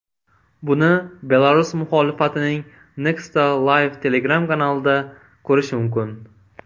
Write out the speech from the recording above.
Buni Belarus muxolifatining Nexta Live Telegram kanalida ko‘rish mumkin .